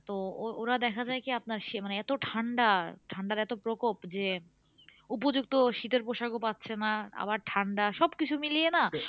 তো ওরা দেখা যায় কি আপনার মানে এত ঠান্ডা ঠান্ডার এত প্রকোপ যে উপযুক্ত শীতের পোশাকও পাচ্ছে না আবার ঠান্ডা সবকিছু মিলিয়ে না